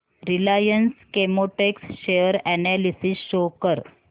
Reliance Chemotex share analysis show कर